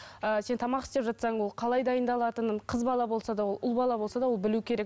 ыыы сен тамақ істеп жатсаң ол қалай дайындалатынын қыз бала болса да ол ұл бала болса да ол білу керек